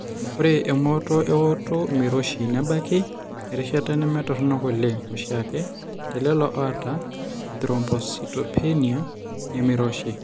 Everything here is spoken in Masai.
Ore emooto eooto meiroshi nebaiki erishata nemetoronok oleng oshiake telelo oata ethrombocytopenia nemeiroshi.